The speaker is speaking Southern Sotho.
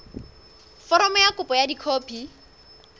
foromo ya kopo ka dikopi